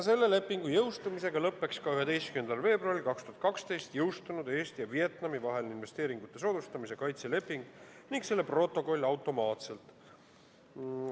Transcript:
Selle lepingu jõustumisega lõpeks 11. veebruaril 2012 jõustunud Eesti ja Vietnami vaheline investeeringute soodustamise ja kaitse leping ning selle protokoll automaatselt.